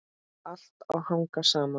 Allt á að hanga saman.